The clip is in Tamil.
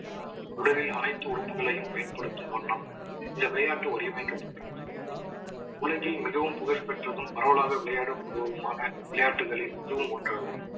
உடலில் அனைத்து உறுப்புகளையும் பயன்படுத்தும் வண்ணம் இந்த விளையாட்டு வடிவமைக்கப்பட்டுள்ளது. உலகில் மிகவும் புகழ்பெற்றதும் பரவலாக விளையாடப்படுவதுமான விளையாட்டுகளில் இதுவும் ஒன்றாகும்